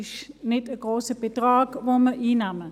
Es ist kein grosser Betrag, den wir einnehmen.